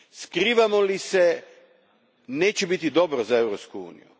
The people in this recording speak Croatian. Skrivamo li se, neće biti dobro za Europsku uniju.